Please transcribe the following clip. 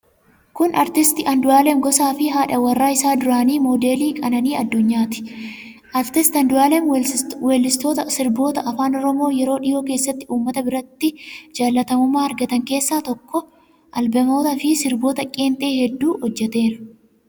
Isaan kun Aartist Andu'aalem Gosaafi haadha warraa isaa duraanii Moodelii Qananii Addunyaati. Aartist Andu'aalem weellistoota sirboota Afaan Oromoo yeroo dhihoo keessatti uummata biratti jaallatamummaa argatan keessaa tokko. Albeemotaafi sirboota qeenxee hedduu hojjeteera.